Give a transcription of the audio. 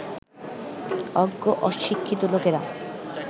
অজ্ঞ অশিক্ষিত লোকেরা